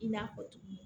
I n'a fɔ tuguni